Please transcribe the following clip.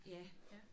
Ja